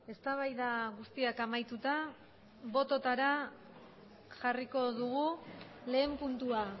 eztabaida guztiak amaituta bototara jarriko dugu lehen puntua